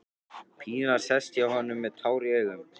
Pína sest hjá honum með tár í augum.